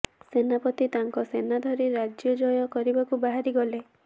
ସେନାପତି ତାଙ୍କ ସେନା ଧରି ରାଜ୍ୟ ଜୟ କରିବାକୁ ବାହାରିଗଲେ